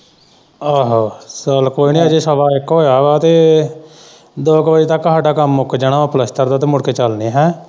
ਆਹੋ ਚੱਲ ਕੋਈ ਨਾ ਅਜੇ ਸਵਾ ਇੱਕ ਹੋਇਆ ਵਾ ਤੇ ਦੋ ਕ ਵਜੇ ਤੱਕ ਹਾਡਾ ਕੰਮ ਜਾਣਾ ਪਲਸਤਰ ਦਾ ਮੁੜ ਕੇ ਚੱਲਦੇ ਹੈਅ।